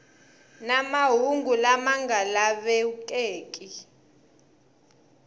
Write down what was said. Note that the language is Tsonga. na mahungu lama nga lavekeki